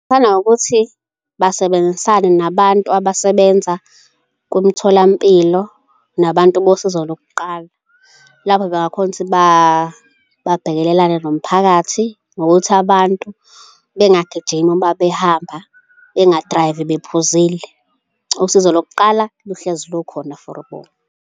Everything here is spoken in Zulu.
ngokuthi basebenzisane nabantu abasebenza kumtholampilo nabantu bosizo lokuqala lapho bangakhona ukuthi babhekelelane nomphakathi ngokuthi abantu bengagijimi uma behamba, bengadrayivi bephuzile. Usizo lokuqala luhlezi lukhona for bona.